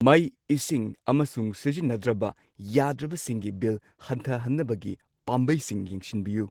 ꯃꯩ ꯏꯁꯤꯡ ꯑꯃꯁꯨꯡ ꯁꯤꯖꯤꯟꯅꯗ꯭ꯔꯕ ꯌꯥꯗ꯭ꯔꯕꯁꯤꯡꯒꯤ ꯕꯤꯜ ꯍꯟꯊꯍꯟꯅꯕꯒꯤ ꯄꯥꯝꯕꯩꯁꯤꯡ ꯌꯦꯡꯁꯤꯟꯕꯤꯌꯨ꯫